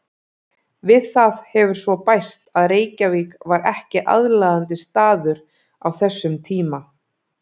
Við það hefur svo bæst að Reykjavík var ekki aðlaðandi staður á þessum tíma.